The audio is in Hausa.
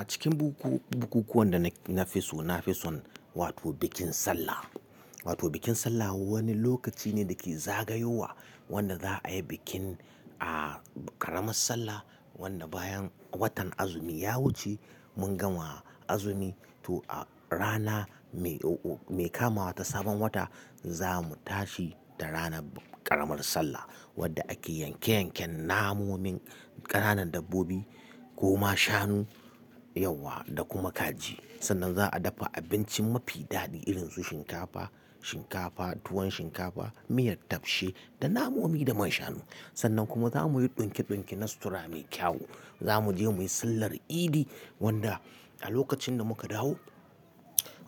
A cikin bukuku-bukukuwan da na fi so, nafi son bikin Sallah. Bikin Sallah wani lokaci ne da ke zagayowa wanda za a yi bikin a ƙaramar Sallah. Wanda bayan watan azumi ya wuce, mun gama azumi. To a rana mai kamawa ta sabon wata za mu tashi da ranar ƙaramar Sallah wadda ake yanke-yanken namonin ƙananan dabbobi ko ma shanu, yawa da kuma kaji. Sannan za'a dafa abinci mafi daɗi irin su shinkafa, tuwon shinkafa, miyar tafshe da namomi da manshanu. Sannan kuma za mu yi ɗinke-ɗinke na sutura mai kyau. Za mu je muyi sallar idi wanda a lokacin da muka dawo